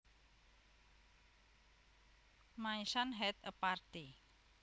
My son had a party